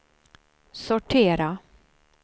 sortera